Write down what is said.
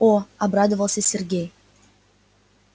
о обрадовался сергей